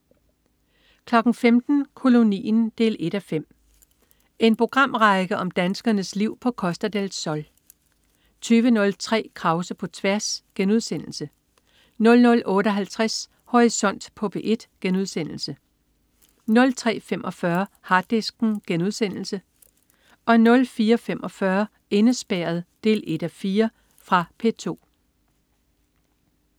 15.00 Kolonien 1:5. En programrække om danskernes liv på Costa del Sol 20.03 Krause på tværs* 00.58 Horisont på P1* 03.45 Harddisken* 04.45 Indespærret 1:4. Fra P2